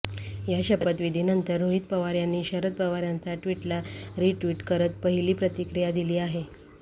या शपथविधीनंतर रोहित पवार यांनी शरद पवार यांचा ट्विला रिट्विट करत पहिली प्रतिक्रिया दिली आहे